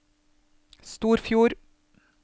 Storfjord